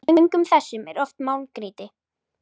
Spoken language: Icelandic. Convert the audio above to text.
Í göngum þessum er oft málmgrýti.